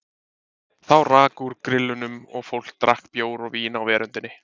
Þá rauk úr grillunum og fólk drakk bjór og vín á veröndinni.